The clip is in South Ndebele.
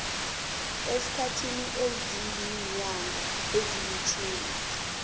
esikhathini esiziinyanga ezilitjhumi